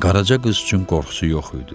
Qaraca qız üçün qorxusu yox idi.